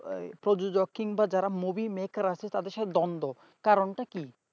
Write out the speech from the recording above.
প্রযোজক কিংবা যারা movie maker আছে তাদের সাথে দ্বন্দ্ব কারণটা কি?